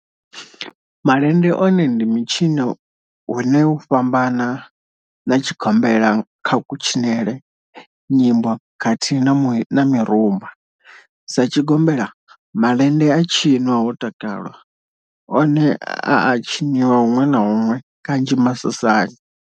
Malende one ndi mitshino une u a fhambana na tshigombela kha kutshinele, nyimbo khathihi na mirumba, Sa tshigombela, malende a tshinwa ho takalwa, one a a tshiniwa hunwe na hunwe kanzhi masosani.